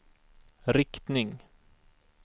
riktning